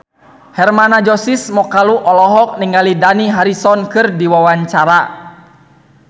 Hermann Josis Mokalu olohok ningali Dani Harrison keur diwawancara